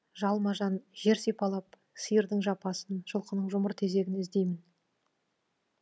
жалма жан жер сипалап сиырдың жапасын жылқының жұмыр тезегін іздеймін